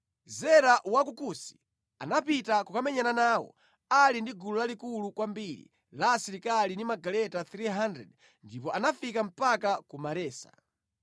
Zera wa ku Kusi anapita kukamenyana nawo ali ndi gulu lalikulu kwambiri la asilikali ndi magaleta 300 ndipo anafika mpaka ku Maresa.